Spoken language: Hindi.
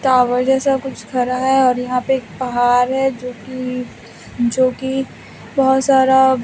टॉवर जैसा कुछ खरा है और यहाँ पे एक पहाड़ है जो कि जो कि बहोत सारा --